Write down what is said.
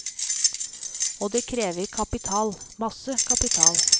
Og det krever kapital, masse kapital.